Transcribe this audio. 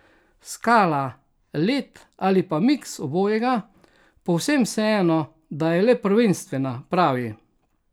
Skala, led ali pa miks obojega, povsem vseeno, da je le prvenstvena, pravi.